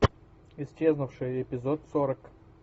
исчезнувшая эпизод сорок